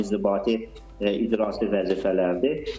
Bunlar inzibati icraçı vəzifələrdir.